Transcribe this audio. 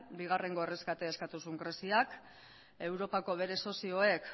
bigarren erreskatea eskatu zuen greziak europako bere sozioek